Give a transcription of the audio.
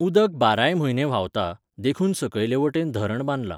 उदक बाराय म्हयने व्हांवता, देखून सकयले वटेन धरण बांदलां.